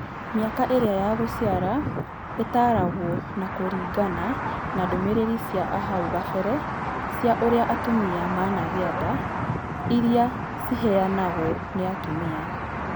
Mĩaka ĩrĩa ya gũciara ĩtaragwo na kũringana na ndũmĩrĩri ci ahau kabere cia ũrĩa atumia managĩa nda iria ciheanagwo nĩ atumia